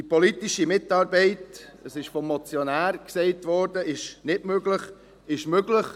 Die politische Mitarbeit – vom Motionär wurde gesagt, sie sei nicht möglich – ist möglich.